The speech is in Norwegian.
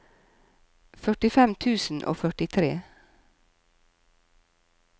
førtifem tusen og førtitre